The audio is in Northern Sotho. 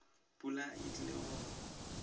pula e tlile go na